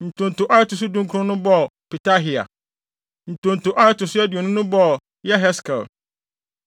Ntonto a ɛto so dunkron no bɔɔ Petahia. Ntonto a ɛto so aduonu no bɔɔ Yeheskel.